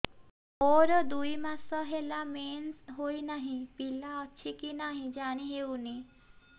ମୋର ଦୁଇ ମାସ ହେଲା ମେନ୍ସେସ ହୋଇ ନାହିଁ ପିଲା ଅଛି କି ନାହିଁ ଜାଣି ହେଉନି